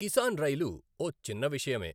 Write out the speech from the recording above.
Kisan rail ఓ చిన్న విషయమే.